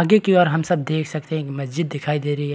आगे की ओर हम सब देख सकते हैं मस्जिद दिखाई दे रही है।